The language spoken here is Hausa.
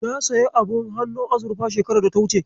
Na sayi abun hannun azurfa shekarar data wuce.